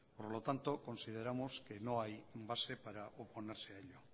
por lo tanto consideramos que no hay base para oponerse